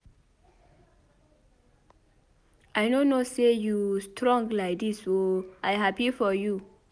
I no know say you strong like dis oo I happy for you.